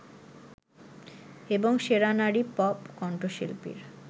এবং সেরা নারী পপ কন্ঠশিল্পীর